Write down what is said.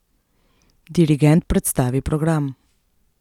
Dirigent predstavi program.